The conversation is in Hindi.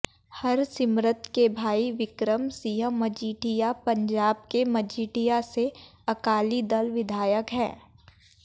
हरसिमरत के भाई विक्रम सिंह मजीठिया पंजाब के मजीठिया से अकाली दल विधायक हैं